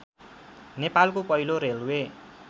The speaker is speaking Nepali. नेपालको पहिलो रेल्वे